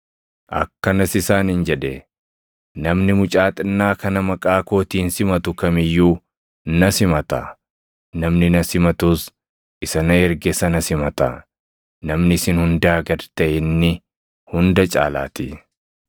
akkanas isaaniin jedhe; “Namni mucaa xinnaa kana maqaa kootiin simatu kam iyyuu na simata; namni na simatus isa na erge sana simata; namni isin hundaa gad taʼe inni hunda caalaatii.”